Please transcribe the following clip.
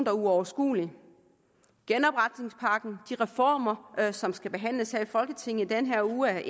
er uoverskuelig genopretningspakken de reformer af og som skal behandles her i folketinget i denne uge